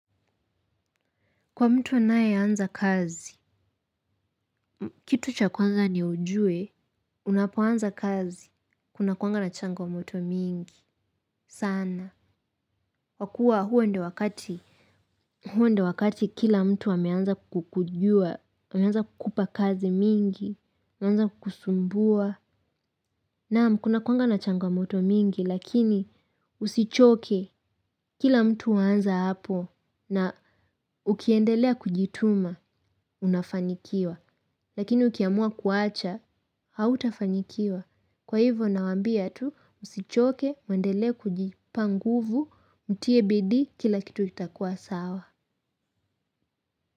Kwa mtu anayeanza kazi, kitu cha kwanza ni ujue, unapoanza kazi, kunakuanga na changamoto mingi, sana. Kwakuwa huo ndo wakati, huo ndo wakati kila mtu ameanza kukujua, ameanza kukupa kazi mingi, ameanza kukusumbua. Naam, kunakuwanga na changamoto mingi, lakini usichoke, kila mtu aanza hapo na ukiendelea kujituma, unafanikiwa. Lakini ukiamua kuacha, hautafanikiwa. Kwa hivyo nawaambia tu, usichoke, muendelee kujipa nguvu, mtie bidii kila kitu kitakuwa sawa.